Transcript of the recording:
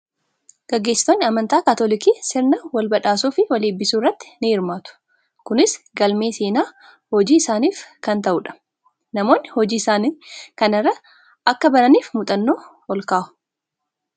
Gaggeessitoonni amantaa kaatolikii sirna wal badhaasuu fi wal eebbisuu irratti ni hirmaatu. Kunis galmee seenaa hojii isaaniif kan ta'u dha. Namoonni hojii isaanii kana irraa akka baraniif muuxanoo ol kaa'u.